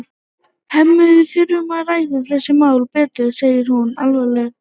Hemmi, við þurfum að ræða þessi mál betur, segir hún alvarleg.